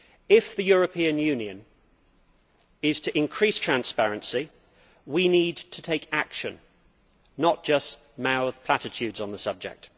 If the European Union is to increase transparency, we need to take action and not just mouth platitudes on the subject.